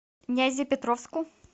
нязепетровску